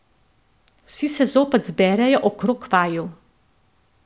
Vsi se zopet zberejo okrog vaju.